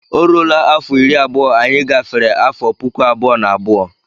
Ọ rụọla afọ iri abụọ anyị gafere afọ puku abụọ na abụọ.